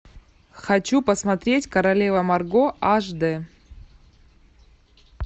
хочу посмотреть королева марго аш дэ